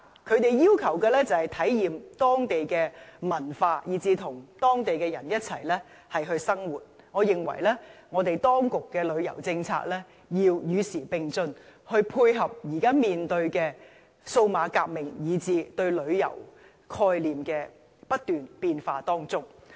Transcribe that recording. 他們要求的是體驗當地文化，以至跟當地人一起生活，我認為當局的旅遊政策要與時並進，以配合現在面對的數碼革命及不斷變化的旅遊概念。